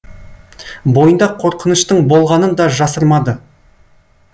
бойында қорқыныштың болғанын да жасырмады